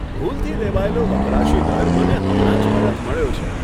ભૂલથી લેવાયેલો વપરાશી દર મને હમણાં જ પરત મળ્યો છે.